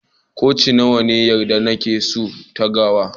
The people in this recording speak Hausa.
Koci nawa ne ana yarda da su a'tagawar?